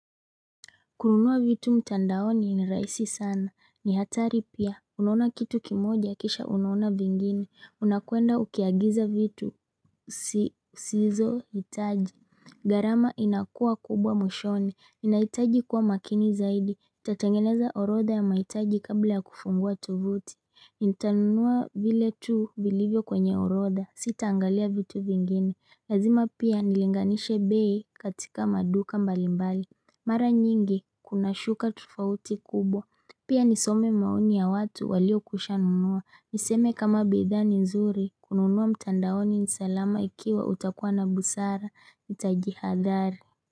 Kununua vitu mtandaoni ni rahisi sana, ni hatari pia, unaona kitu kimoja kisha unaona vingine, unakuenda ukiagiza vitu sizo hitaji. Gharama inakuwa kubwa mwishoni. Inahitaji kuwa makini zaidi, tatengeneza orodha ya mahitaji kabla ya kufungua tovuti. Nitanunua vile tu vilivyo kwenye orodha. Sitaangalia vitu vingine. Lazima pia nilinganishe bei katika maduka mbalimbali. Mara nyingi kuna shuka tofauti kubwa. Pia nisome maoni ya watu waliokushanunua, niseme kama bidhaa ni nzuri kununua mtandaoni ni salama ikiwa utakuwa na busara nitajihadhari.